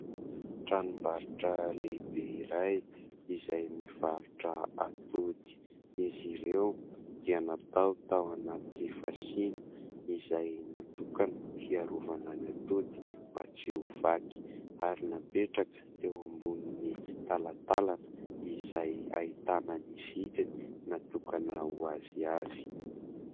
tranombarotra lehibe iray izay mivarotra atody izy ireo dia natao tao anaty fasiana izay natokana hiarovana ny atody mba tsy ho vaky ary napetraka teo ambony talatalana izay ahitana ny vidiny natokana ho azy avy